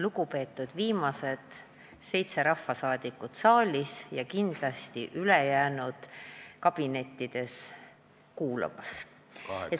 Lugupeetud viimased seitse rahvasaadikut saalis ja kindlasti ülejäänud kabinettides kuulamas!